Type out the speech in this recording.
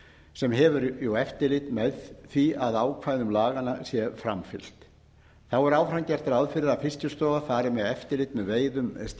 sem hefur eftirlit með því að ákvæðum laganna sé framfylgt þá er áfram gert ráð fyrir að fiskistofa fari með eftirlit með veiðum